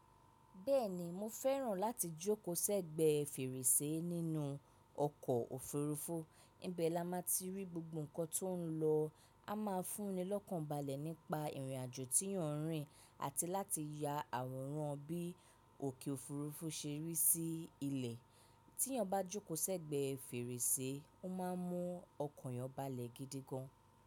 Bẹ́ẹ̀ni, mo fẹ́ràn láti jókòó sẹ́gbẹ̀ẹ́ fèrèsé nínú ọkọ̀ òfurufú, ibẹ̀ la máa ti rí gbogbo nnkan tó ń lọ, a máa fúnni lọ́kàn balẹ̀ nípa ìrìnàjò tí yóò ń rìn àti láti ya àwòrán bí òkè òfurufú ṣe rí sí ilẹ̀. Tí yàn bá jókòó sẹ́gbẹ̀ẹ́ fèrèsé, o máa mún ọkan eeyàn balẹ̀ gidi gan.